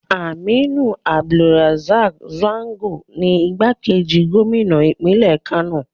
Aminu Abdussalam Gwarzo ni igbákejì gómìnà ìpínlẹ̀ Kano.